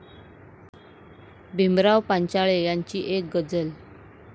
भीमराव पांचाळे यांची एक गझल